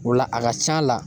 O la a ka c'a la